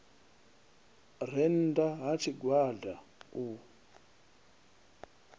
re nnda ha tshigwada u